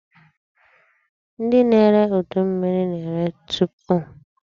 Ndị na-ere udu mmiri na-ere teepu.